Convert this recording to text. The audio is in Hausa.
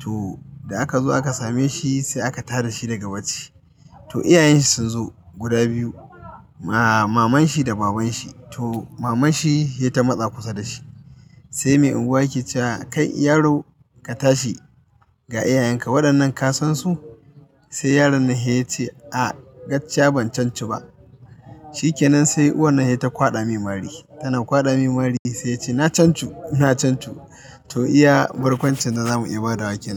To da aka zo aka same shi sai aka tara shi daga bacci. To iyayen shi sun zo guda biyu, maman shi da baban shi. To maman shi ce ta matsa kusa da shi sai mai unguwa ya cewa, "Kai yaro ka tashi ga iyayen ka, waɗannan ka san su?" Sai yaron nan ya ce, "A gaskiya ban sansu ba." Shi kenan sai uwan nan sai ta kwaɗa mai mari, tana kwaɗa mai mari sai ya ce, "na canci ku, na canci ku." To iya barkwancin da za mu iya ba da wa ke nan.